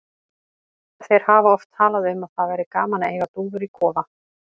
Þeir hafa oft talað um að það væri gaman að eiga dúfur í kofa.